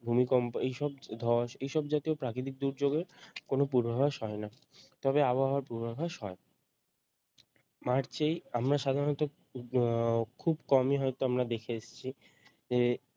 ভূমিকম্প এইসব ধস এইসব জাতীয় প্রাকৃতিক দুর্যোগের কোনও পূর্বাভাস হয় না তবে আবহাওয়ার পূর্বাভাস হয় মার্চেই আমরা সাধারণত উম খুব কমই হয়তো আমরা দেখে এসেছি যে